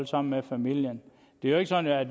sammen med familien det er jo ikke sådan at